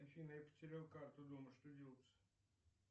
афина я потерял карту дома что делать